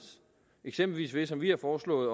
eksempelvis ved som vi har foreslået